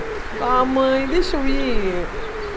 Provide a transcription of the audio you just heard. Ah, mãe, deixa eu ir.